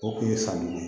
O kun ye sanni ye